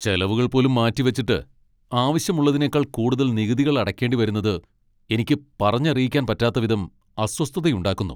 ചെലവുകൾ പോലും മാറ്റിവച്ചിട്ട്, ആവശ്യമുള്ളതിനേക്കാൾ കൂടുതൽ നികുതികൾ അടക്കേണ്ടി വരുന്നത് എനിക്ക് പറഞ്ഞറിയിക്കാൻ പറ്റാത്ത വിധം അസ്വസ്ഥതയുണ്ടാക്കുന്നു.